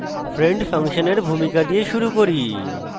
friend ফাংশনের ভূমিকা দিয়ে শুরু করি